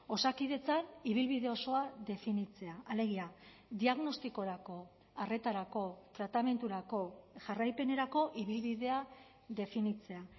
osakidetzan ibilbide osoa definitzea alegia diagnostikorako arretarako tratamendurako jarraipenerako ibilbidea definitzea